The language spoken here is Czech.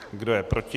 Kdo je proti?